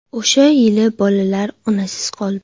O‘sha yili bolalar onasiz qoldi.